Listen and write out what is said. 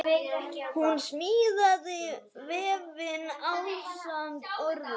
Hún smíðaði vefinn ásamt öðrum.